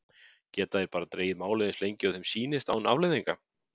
Geta þeir bara dregið málið eins lengi og þeim sýnist án afleiðinga?